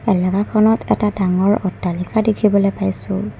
এলেকাখনত এটা ডাঙৰ অট্টালিকা দেখিবলৈ পাইছোঁ।